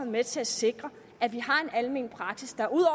med til at sikre at vi har en almen praksis der ud